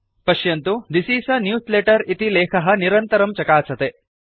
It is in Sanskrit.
पश्यन्तु थिस् इस् a न्यूजलेटर इति लेखः निरन्तरं चकासते